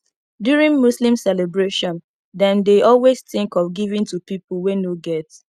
during muslim celebration dem dey always think of giving to pipo wey no get